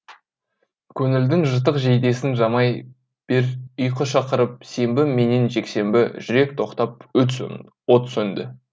көңілдің жыртық жейдесін жамай бер ұйқы шақырып сенбі менен жексенбі жүрек тоқтап от сөнді